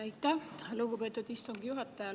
Aitäh, lugupeetud istungi juhataja!